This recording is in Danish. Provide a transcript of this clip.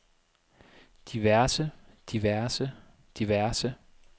diverse diverse diverse